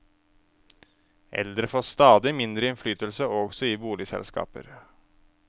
Eldre får stadig mindre innflytelse også i boligselskaper.